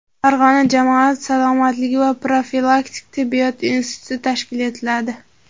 Farg‘ona jamoat salomatligi va profilaktik tibbiyot instituti tashkil etiladi.